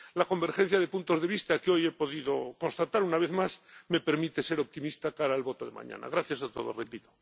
La convergencia de puntos de vista que hoy he podido constatar una vez más me permite ser optimista de cara al voto de mañana. Gracias a todos, repito.